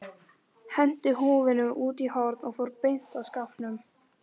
Henti húfunni út í horn og fór beint að skápnum.